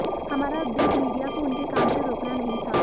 हमारा उद्देश्य मीडिया को उनके काम से रोकना नहीं था